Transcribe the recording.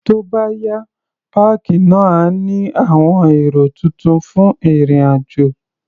Tó bá yá, páàkì náà á ní àwọn ẹ̀rọ tuntun fún ìrìn-àjò.